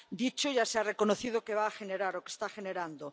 dicho, ya se ha reconocido que va a generar, o que está generando.